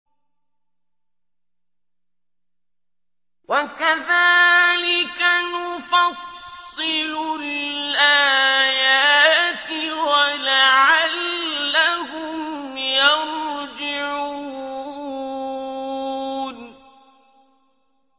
وَكَذَٰلِكَ نُفَصِّلُ الْآيَاتِ وَلَعَلَّهُمْ يَرْجِعُونَ